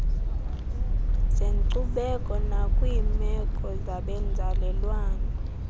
zenkcubeko nakwiimeko zabenzalelwane